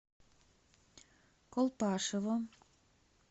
колпашево